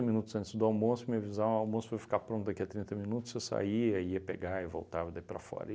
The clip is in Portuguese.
minutos antes do almoço, me avisavam, ó o almoço foi ficar pronto daqui a trinta minutos, eu saía, ia pegar e voltava daí para fora.